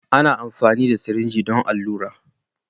Ana amfani da sirinji don allura.